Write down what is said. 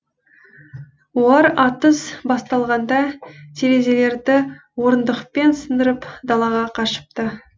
олар атыс басталғанда терезелерді орындықпен сындырып далаға қашыпты